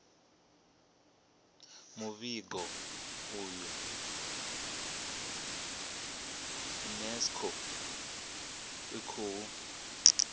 muvhigo uyu unesco i khou